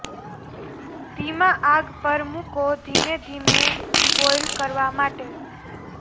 ધીમા આગ પર મૂકો ધીમે ધીમે બોઇલ કરવા માટે